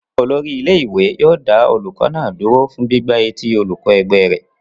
Olórí ilé-ìwé yóò dá olùkọ́ náà dúró fún gbígbá etí olùkọ́ ẹgbẹ́ rẹ̀.